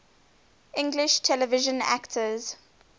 english television actors